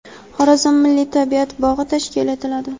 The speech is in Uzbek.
Xorazm milliy tabiat bog‘i tashkil etiladi.